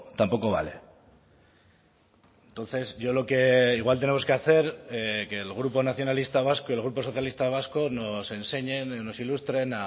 tampoco vale entonces yo lo que igual tenemos que hacer que el grupo nacionalista vasco y el grupo socialista vasco nos enseñen nos ilustren